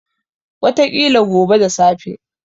Wataƙila gobe da safe.